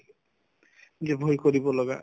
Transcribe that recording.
যে ভয় কৰিব লগা